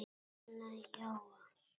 Anna Jóa